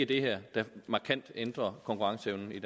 det her der ændrer konkurrenceevnen i